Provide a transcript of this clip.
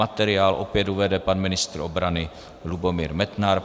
Materiál opět uvede pan ministr obrany Lubomír Metnar.